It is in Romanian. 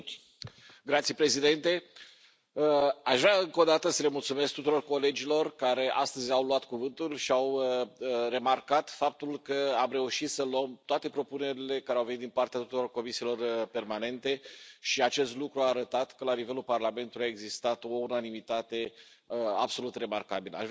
Domnule președinte, aș vrea încă o dată să le mulțumesc tuturor colegilor care astăzi au luat cuvântul și au remarcat faptul că am reușit să luăm toate propunerile care au venit din partea tuturor comisiilor permanente și acest lucru a arătat că la nivelul Parlamentul a existat o unanimitate absolut remarcabilă.